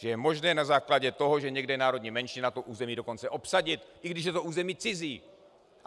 Že je možné na základě toho, že někde je národní menšina, to území dokonce obsadit, i když je to území cizí!